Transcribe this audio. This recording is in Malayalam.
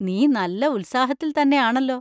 നീ നല്ല ഉത്സാഹത്തില്‍ത്തന്നെയാണല്ലോ.